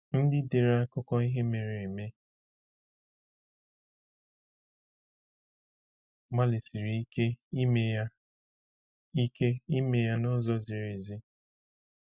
Ndị dere akụkọ ihe mere eme gbalịsiri ike ime ya ike ime ya n’ụzọ ziri ezi.